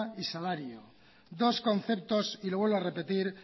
y salario dos conceptos y lo vuelvo a repetir